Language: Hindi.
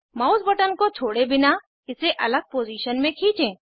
माउस बटन को छोड़े बिना इसे अलग पोज़िशन में खींचें